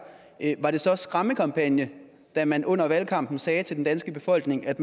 var det så en skræmmekampagne da man under valgkampen sagde til den danske befolkning at